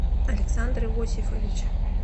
александр иосифович